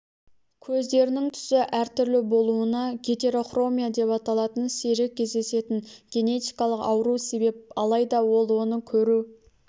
көздерінің түсі әртүрлі болуына гетерохромия деп аталатын сирек кездесетін генетикалық ауру себеп алайда ол оның көру